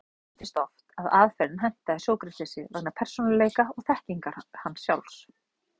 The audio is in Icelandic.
Hins vegar gleymist oft að aðferðin hentaði Sókratesi vegna persónuleika og þekkingar hans sjálfs.